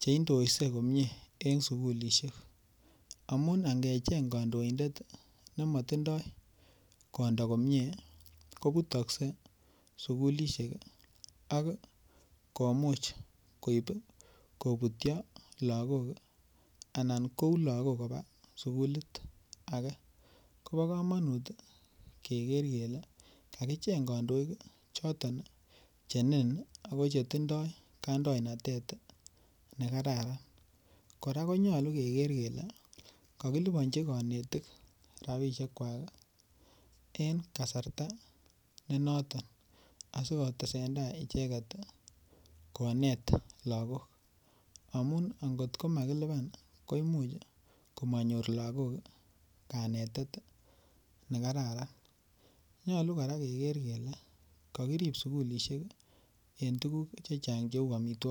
cheintosei komie en sugulishek amun angecheng kondoindet nemotindo kondo komie kobutokse sugulishek ok komuch koib kobutyo lagok anan kou lagok koba sugulit ake kobokomonut keker kele kakicheng kondoik choton chenin ako chetindo kaindonatet nekararan, koraa konyolu keker kele kokilibonji konetik rabishekwak en kasarta nenoton asikotesendai icheket konet lagok amun angot komakiliban koimuch komonyor lagok kanetet nekararan nyolu koraa keker kele kokirib sugulishek en tuguk chechang cheu omitwogik.